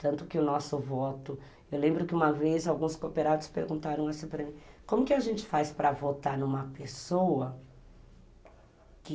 Tanto que o nosso voto... Eu lembro que uma vez alguns cooperados perguntaram assim para mim, como que a gente faz para votar numa pessoa que...